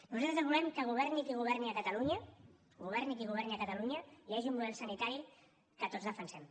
nosaltres volem que governi qui governi a catalunya governi qui governi a catalunya hi hagi un model sanitari que tots defensem